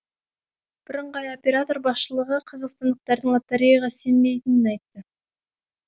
бірыңғай оператор басшылығы қазақстандықтардың лотереяға сенбейтінін айтты